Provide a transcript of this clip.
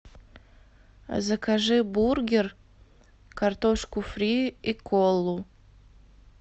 закажи бургер картошку фри и колу